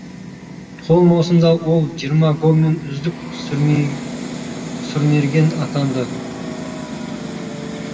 сол маусымда ол жиырма голмен үздік сұрмерген атанды